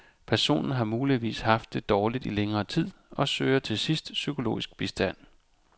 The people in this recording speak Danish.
Personen har muligvis haft det dårligt i længere tid og søger til sidst psykologisk bistand.